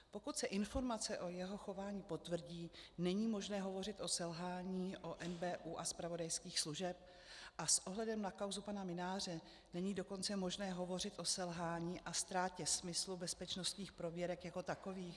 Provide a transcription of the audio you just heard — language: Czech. Pokud se informace o jeho chování potvrdí, není možné hovořit o selhání u NBÚ a zpravodajských služeb a s ohledem na kauzu pana Mynáře není dokonce možné hovořit o selhání a ztrátě smyslu bezpečnostních prověrek jako takových?